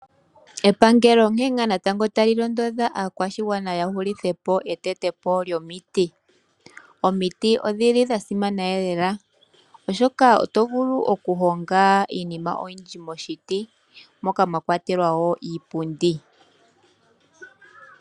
Epangelo onkene natango tali londodha aakwashigwana yahulithepo etetepo lyomiti, omiti odhili dhasimana lela oshoka oto vulu okuhonga iinima oyindji moshiti moka mwakwatelwa oshipundi